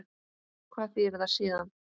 Hvað þýðir það síðan?